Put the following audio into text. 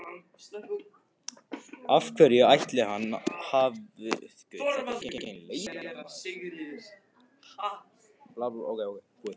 Af hverju ætli hann hafi annars verið að flýta sér svona æðislega!